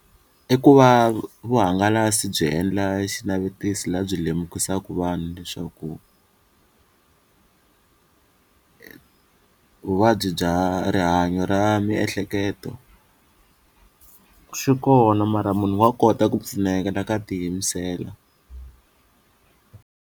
I ku va vuhangalasi byi endla xinavetiso laha byi lemukisaka vanhu leswaku vuvabyi bya rihanyo ra miehleketo swi kona mara munhu wa kota ku pfuneka loko a ti yimisela.